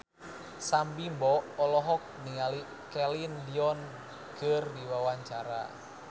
Sam Bimbo olohok ningali Celine Dion keur diwawancara